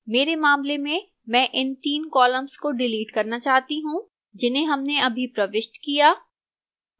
मेरे मामले में मैं इन 3 columns को डिलीट करना चाहता हूं जिन्हें हमने अभी प्रविष्ट किया